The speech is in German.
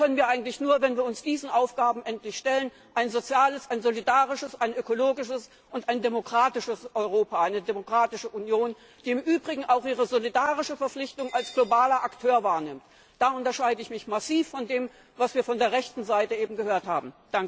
Das können wir nur, wenn wir uns endlich diesen Aufgaben stellen, ein soziales, ein solidarisches, ein ökologisches und ein demokratisches Europa, eine demokratische Union, die im Übrigen auch ihre solidarische Verpflichtung als globaler Akteur wahrnimmt. Da unterscheide ich mich massiv von dem, was wir eben von der rechten Seite gehört haben.